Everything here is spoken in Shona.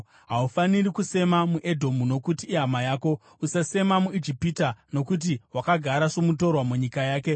Haufaniri kusema muEdhomu, nokuti ihama yako. Usasema muIjipita nokuti wakagara somutorwa munyika yake.